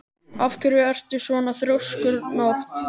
Af hverju ertu svona þrjóskur, Nótt?